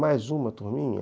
Mais uma turminha?